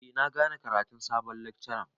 Eh na gane karatun sabon lekcaran.